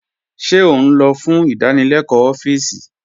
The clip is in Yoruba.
Ṣé ó n'ọ̀ fún ìdánílẹ̀kọ̀ ọfíìsí?